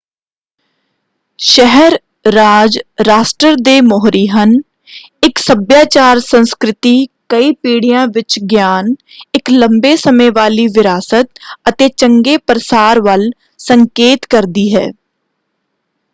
ਸ਼ਹਿਰ-ਰਾਜ ਰਾਸ਼ਟਰ ਦੇ ਮੋਹਰੀ ਹਨ। ਇੱਕ ਸੱਭਿਆਚਾਰ ਸੰਸਕ੍ਰਿਤੀ ਕਈ ਪੀੜੀਆਂ ਵਿੱਚ ਗਿਆਨ ਇੱਕ ਲੰਬੇ ਸਮੇਂ ਵਾਲੀ ਵਿਰਾਸਤ ਅਤੇ ਚੰਗੇ ਪ੍ਰਸਾਰ ਵੱਲ ਸੰਕੇਤ ਕਰਦੀ ਹੈ।